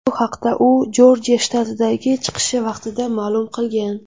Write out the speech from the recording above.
Bu haqda u Jorjiya shtatidagi chiqishi vaqtida ma’lum qilgan .